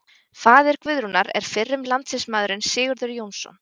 Faðir Guðrúnar er fyrrum landsliðsmaðurinn Sigurður Jónsson.